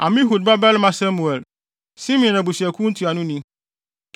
Amihud babarima Semuel, Simeon abusuakuw ntuanoni;